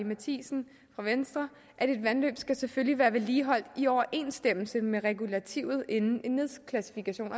matthiesen fra venstre at et vandløb selvfølgelig skal være vedligeholdt i overensstemmelse med regulativet inden en nedklassifikation